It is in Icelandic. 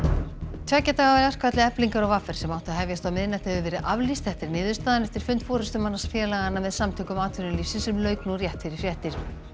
tveggja daga verkfalli Eflingar og v r sem átti að hefjast á miðnætti hefur verið aflýst þetta er niðurstaðan eftir fund forystumanna félaganna með Samtökum atvinnulífsins sem lauk nú rétt fyrir fréttir